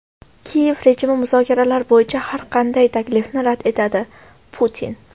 Kiyev rejimi muzokaralar bo‘yicha har qanday taklifni rad etadi – Putin.